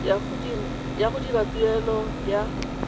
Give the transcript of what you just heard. ya go dira tuelo ya